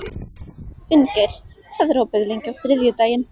Finngeir, hvað er opið lengi á þriðjudaginn?